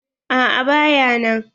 A'a ba ya nan.